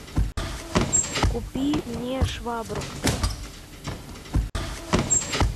купи мне швабру